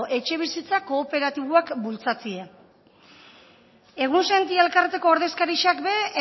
etxebizitza kooperatiboak bultzatzie egunsentia elkarteko ordezkarixak be